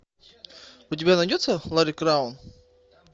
у тебя найдется ларри краун